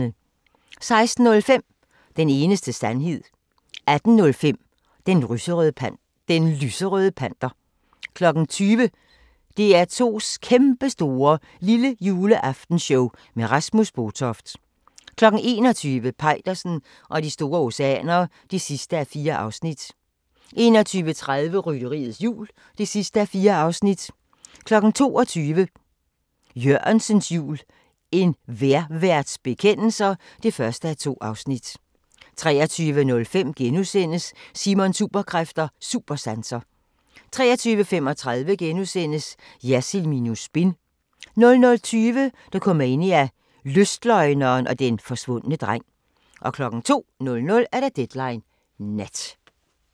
16:05: Den eneste sandhed 18:05: Den lyserøde panter 20:00: DR2's Kæmpestore Lillejuleaftenshow med Rasmus Botoft 21:00: Peitersen og de store oceaner (4:4) 21:30: Rytteriets Jul (4:4) 22:00: Jørgensens jul – En vejrværts bekendelser (1:2) 23:05: Simons Superkræfter: Supersanser * 23:35: Jersild minus spin * 00:20: Dokumania: Lystløgneren og den forsvundne dreng 02:00: Deadline Nat